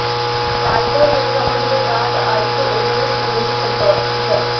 पालकों के समझ में बात आई तो उन्होंने स्कूलों से संपर्क किया